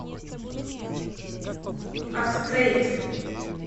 актрейд